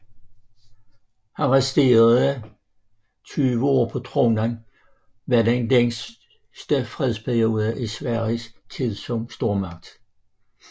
Hans resterende 20 år på tronen var den længste fredsperiode i Sveriges tid som stormagt